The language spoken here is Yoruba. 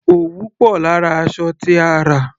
Òwú pò lára aṣọ tí a rà.